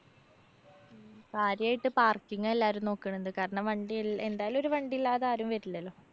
ആദ്യായിട്ട് parking ആ എല്ലാരും നോക്കണത്. കാരണം വണ്ടി എ~എന്തായാലും ഒരു വണ്ടില്ലാതെ ആരും വരില്ലല്ലോ.